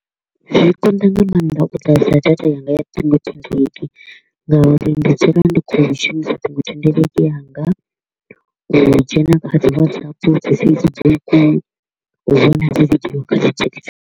Zwi konḓa nga maanḓa u ḓadza data yanga ya ṱhingo thendeleki ngauri ndi dzula ndi kho u shumisa ṱhingothendeleki yanga u dzhena kha dzi Whatsapp, dzi Facebook, u vhona dzi video kha dzi TikTok.